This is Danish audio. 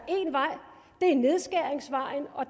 nedskæringsvejen og